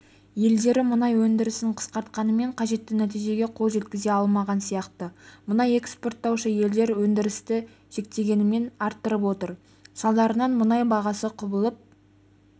елдері мұнай өндірісін қысқартқанымен қажетті нәтижеге қол жеткізе алмаған сияқты мұнай экспорттаушы елдер өндірісті шектегенімен арттырып отыр салдарынан мұнай бағасы құбылып